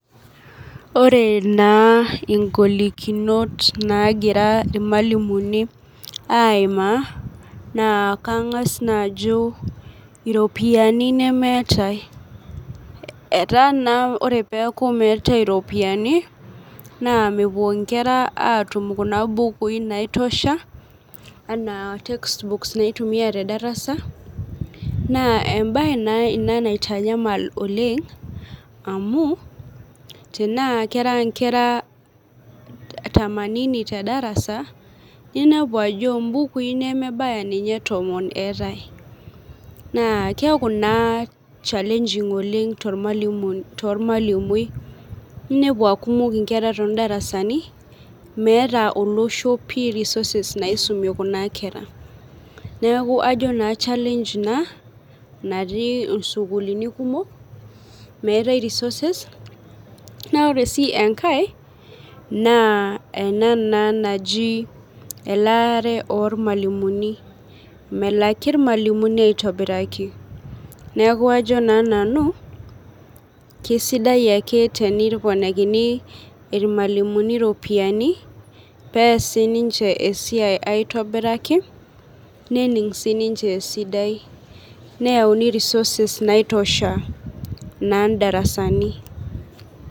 Ore ingolikinot naagira irmalimuni iaimaa naa kangas naake ajo iropiyiani nemeetae etaa naa ore peeku meetai ropioyiani naa mepuo nkera aatun kuna bukui naitosha ana textbooks naitumiya tedarasa naaa embae naa ina naitanyamala oleng amu tenaa kera nkera tamanini tedarasa ninepu ajo mbukui ninye nemebaya tomon eetae na keeku naa chalenging tormalimui ninepu aa meeta olosho pi risoses naisume kuna kera, neeku ejo naa chaleng ina natii sukulini kumok ,meetae risoses na aore sii enkae naa ena naa naji elaare ormalimuni ,melaki irmalimuni aitobiraki neeku ajo naa nanu keisidai ake teneponikini irmalimuni ropiyiani pee ees ninche esiai aitobiraki, nening ninche esidai nayauni risoses naitosha naa ndarasani.